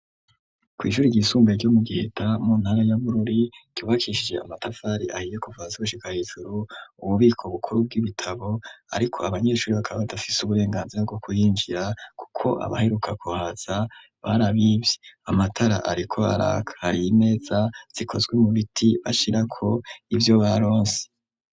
kw'shure ryisumbuye ryo mu giheta mu ntara ya bururi ryubakishije amatafari ahiye kuva hasi gushika hejuru ububiko bukuru bw'ibitabo ariko abanyeshure bakaba badafise uburenganzira bwo kuhinjira kuko abaheruka kuhaza barabivye amatara ariko araka imeza zikozwe mu biti ashirako ivyo baronse.